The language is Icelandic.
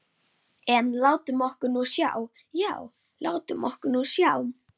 En látum okkur nú sjá, já, látum okkur nú sjá.